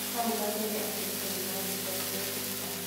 Hau gabere atumia nĩ matigagwo thutha